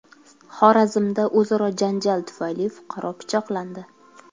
Xorazmda o‘zaro janjal tufayli fuqaro pichoqlandi.